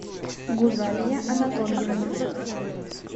гузалия анатольевна